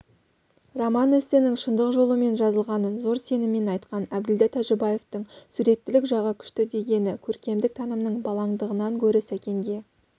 роман-эссенің шындық жолымен жазылғанын зор сеніммен айтқан әбділда тәжібаевтың суреттілік жағы күшті дегені көркемдік танымының балаңдығынан гөрі сәкенге